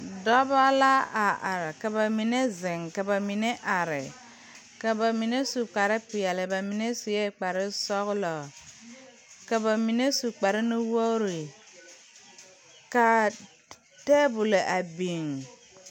Dɔbɔ la a are ka ba mine zeŋ ka ba mine are ka ba mine su kparepeɛle ba mine suee kparesɔglɔ ka ba mine su kpare nuwogre kaa tabolɔ a biŋ.